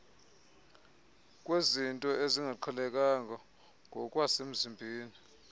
kwezinto ezingaqhelekanga ngokwasemzimbeni